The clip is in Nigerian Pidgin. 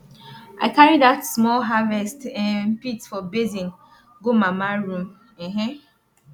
i carry dat small harvest um pit for basin go mama room um